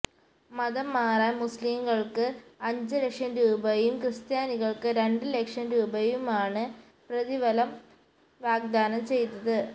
മതം മാറാന് മുസ്ലിംകള്ക്ക് അഞ്ച് ലക്ഷം രൂപയും ക്രിസ്ത്യാനികള്ക്ക് രണ്ട് ലക്ഷം രൂപയുമാണ് പ്രതിഫലം വാഗ്ദാനം ചെയ്തത്